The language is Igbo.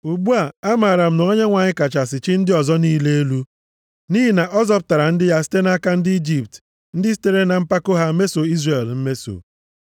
Ugbu a, amaara m na Onyenwe anyị kachasị chi ndị ọzọ niile elu, nʼihi na ọ zọpụtara ndị ya site nʼaka ndị Ijipt ndị sitere na mpako ha meso Izrel mmeso.”